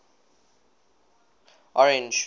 orange